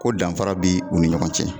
Ko danfara bɛ u ni ɲɔgɔn cɛ.